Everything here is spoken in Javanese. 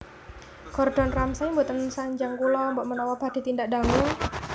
Gordon Ramsay mboten sanjang kula mbok menawa badhe tindak dangu